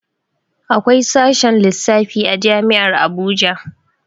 Akwai sashen lissafi a jami'ar Abuja